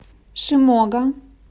шимога